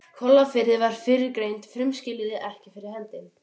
Kollafirði væru fyrrgreind frumskilyrði ekki fyrir hendi.